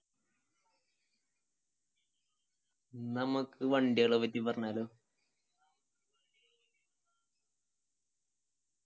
നമ്മക്ക് വണ്ടികളെ പറ്റി പറഞ്ഞാലോ